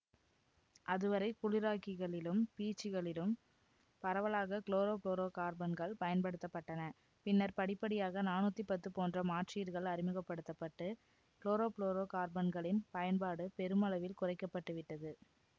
அது வரை குளிராக்கிகளிலும் பீச்சிகளிலும் பரவலாக குளோரோ புளோரோ கார்பன்கள் பயன்படுத்த பட்டன பின்னர் படிப்படியாக நானூத்தி பத்து போன்ற மாற்றீடுகள் அறிமுகபடுத்த பட்டு குளோரோபுளோரோகார்பன்களின் பயன்பாடு பெருமளவில் குறைக்க பட்டு விட்டது